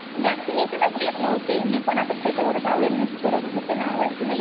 व्हॅक्सिनेशचं घेत नव्हते. मी पण आता त्याच्यावरच अवेअरनेस करत होते ना वक्शीनेशन वर